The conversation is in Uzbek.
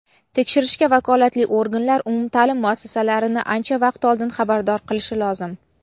Tekshirishga vakolatli organlar umumta’lim muassasalarini ancha vaqt oldin xabardor qilishi lozim.